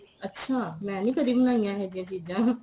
ਅੱਛਾ ਮੈਂ ਨਹੀਂ ਕਦੀ ਬਣਾਈਆਂ ਇਹ ਜੀਆਂ ਚੀਜ਼ਾਂ